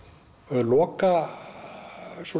loka